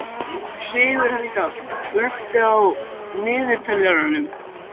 Sigurhelga, slökktu á niðurteljaranum.